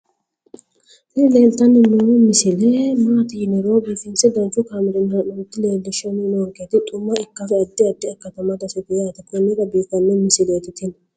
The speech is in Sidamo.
tini leeltanni noo misile maaati yiniro biifinse danchu kaamerinni haa'noonnita leellishshanni nonketi xuma ikkase addi addi akata amadaseeti yaate konnira biiffanno misileeti tini